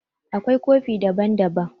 Akwai kofi daban-daban.